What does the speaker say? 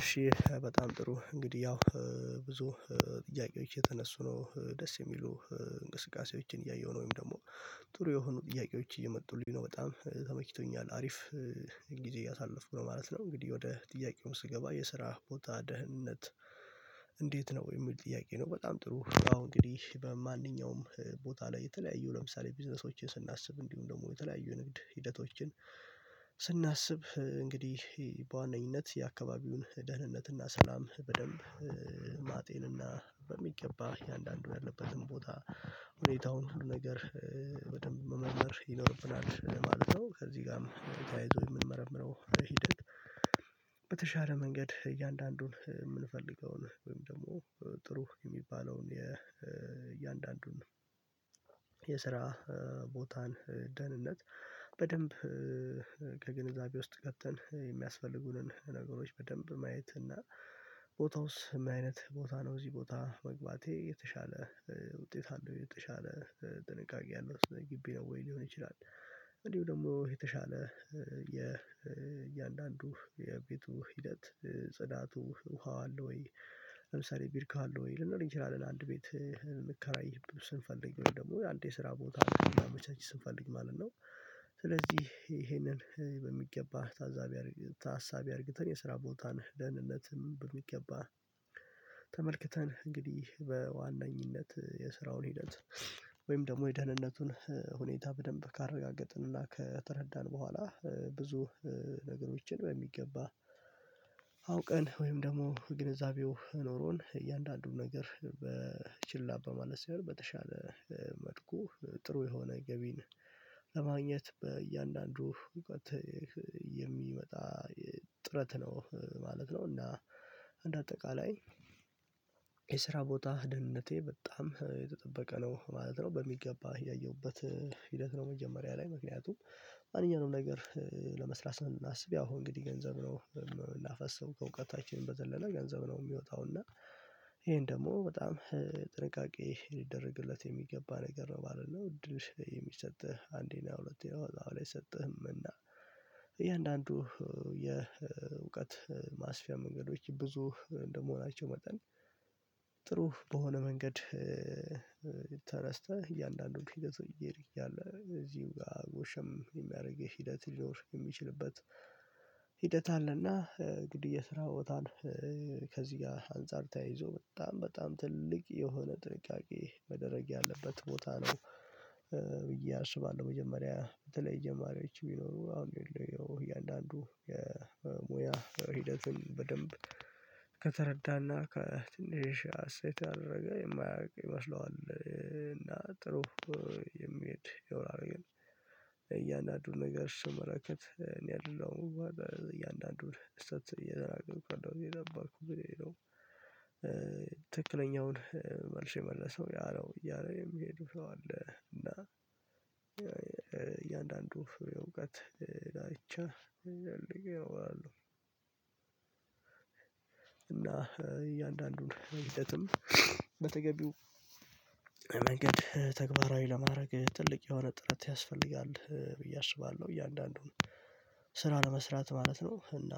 እሺ በጣም ጥሩ እንግዲህ ያው ብዙ ጥያቄዎች እየተነሱ ነው ደስ የሚሉ እንቅስቃሴዎችን እያየሁ ነው ወይም ደግሞ ጥሩ የሆኑ ጥያቄዎች እየመጡልኝ ነው በጣም ተመችቶኛል አሪፍ ጊዜ እያሳለፍኩ ነው ማለት ነው። እንግዲህ ወደ ጥያቄው ስገባ የስራ ቦታ ደህንነት እንዴት ነው የሚል ጥያቄ ነው? በጣም ጥሩ አሁን እንግዲህ በማንኛውም ቦታ ላይ የተለያዩ ለምሳሌ ቢዝነሶቼ ስናስብ እንዲሁም ደግሞ የተለያዩ ንግድ ሂደቶችን ስናስብ እንግዲህ በዋነኝነት የአካባቢውን ደህንነትና ሰላም በደንብ ማጤንና በሚገባ እያንዳንዱ ያለበትን ቦታ ሁኔታውን ሁሉ ነገር በደንብ መመርመር ይኖርብናል ማለት ነው። ከዚህ ጋርም ተካሂዶ የምንመረምረው ለሂደት በተሻለ መንገድ እያንዳንዱን የምንፈልገውን ወይም ደግሞ ጥሩ የሚባለውን የእያንዳንዱን የስራ ቦታን ደህንነት በደንብ ከግንዛቤ ውስጥ ከተን የሚያስፈልጉንን ነገሮች በደንብ ማየት እና ቦታውስ ምን አይነት ቦታ ነው እዚህ ቦታ መግባቴ የተሻለ ውጤት አለው የተሻለ ጥንቃቄ አለው ግቢ ነው ወይ ሊሆን ይችላል? እንዲሁ ደግሞ የተሻለ የ የእያንዳንዱ የቤቱ ሂደት ጽዳቱ ውሃው አለ ወይ ለምሳሌ ቢርካ አለው ወይ ልንለው እንችላለን አንድ ቤት ልንከራይ ስንፈልግ ወይ ደግሞ ወይ አንድ የስራ ቦታ መቼም ስንፈልግ ማለት ነው። ስለዚህ ይሄንን በሚገባ ታዛቢ ታሳቢ አድርግተን የስራ ቦታ ነህ ደህንነትም በሚገባ ተመልክተን እንግዲህ በዋነኝነት የስራውን ሂደት ወይም ደግሞ የደህንነቱን ሁኔታ በደንብ ካረጋገጥንና ከተረዳን በኋላ ብዙ ነገሮችን በሚገባ አውቀን ወይም ደግሞ ግንዛቤው ኖሮን እያንዳንዱን ነገር በችላ በማለት ሳይሆን በተሻለ መልኩ ጥሩ የሆነ ገቢን ለማግኘት በእያንዳንዱ እውቀት የሚመጣ ጥረት ነው ማለት ነው። እና እንደ አጠቃላይ የስራ ቦታ ደህንነቴ በጣም የተጠበቀ ነው ማለት ነው። በሚገባ ያየሁበት ሂደት ነው መጀመሪያ ላይ ምክንያቱም ማንኛውንም ነገር ለመስራት ስናስብ ያው እንግዲህ ገንዘብ ነው ላፈሰው ከእውቀታችን በዘለለ ገንዘብ ነው የሚወጣው እና ይሄን ደግሞ በጣም ጥንቃቄ ሊደረግለት የሚገባ ነገር ነው ማለት ነው። እድል የሚሰጥህ አንዴ አሁን ላይ ሰጥህም እና እያንዳንዱ የእውቀት ማስፊያ መንገዶች ብዙ እንደመሆናቸው መጠን ጥሩ በሆነ መንገድ እያንዳንዶቹ ፊገት እየሄደ እያለ እዚህም ጋር ጎሸም የሚያደርግህ ሂደት ሊኖር የሚችልበት ሂደት አለና ግድያ ስራ ወጣን ከዚህ ጋር አንፃር ተያይዞ በጣም በጣም ትልቅ የሆነ ጥንቃቄ መደረግ ያለበት ቦታ ነው። ብዬ አስባለሁ መጀመሪያ በተለይ ጅማሪዎች የሚኖሩ አሁን እያንዳንዱ የሙያ ሂደትን በደንብ ከተረዳና ከትንሽ ሀሴት ካደረገ የማያውቅ ይመስለዋል ጥሩ የሚሄድ የውራዊን እያንዳንዱን ነገር ስመረከት እኔ አይደለሁም እያንዳንዱን እሰጥ እየዘራቅርኩ እንደው እየገባርኩ ብለህ ሄደው ትክክለኛውን መልሼ የመለሰው ያለው እያለ የሚሄዱ ሰው አለ እና እያንዳንዱ የእውቀት ዳርቻ እያወራሁ እና እያንዳንዱን ሂደትም በተገቢው መንገድ ተግባራዊ ለማድረግ ትልቅ የሆነ ጥረት ያስፈልጋል ብዬ አስባለሁ። እያንዳንዱን ስራ ለመስራት ማለት ነው እና